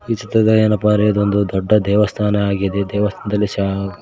ಈ ಚಿತ್ರದಲ್ಲಿ ಏನಪ್ಪಾ ಅಂದ್ರೆ ಇದು ಒಂದು ದೊಡ್ಡ ದೇವಸ್ಥಾನ ಆಗಿದೆ ದೇವಸ್ಥಾನದಲ್ಲಿ ಶಾ--